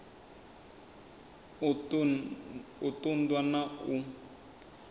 u ṱun ḓwa na u